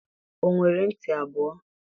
o nwere nti abuo?